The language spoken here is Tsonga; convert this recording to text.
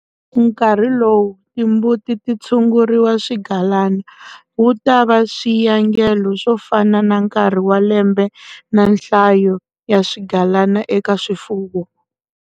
Nkarhi lowu timbuti ti tshunguriwa swigalana wu ta va swiyangelo swo fana na nkarhi wa lembe na nhlayo ya swigalana eka swifuwo.